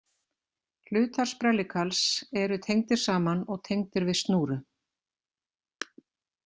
Hlutar sprellikarls eru tengdir saman og tengdir við snúru.